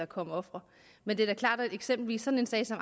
kommet ofre men det er da klart at eksempelvis sådan en sag som